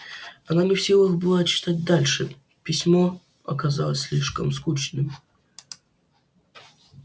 она не в силах была читать дальше письмо оказалось слишком скучным